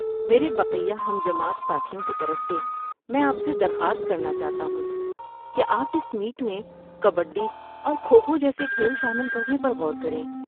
میرے بقیہ ہم جماعت ساتھیوں کی طرف سے میں آپ سے درخواست کرنا چاہتا ہوں کہ آپ اس میٹ میں کبڈی اور کھو کھو جیسے کھیل شامل کرنے پر غور کریں۔